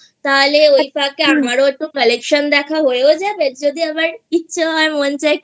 তাহলে ওই ফাঁকেআমারও একটু Collection দেখা হয়েই যাবে আর যদি আমার ইচ্ছা হয় মন চায়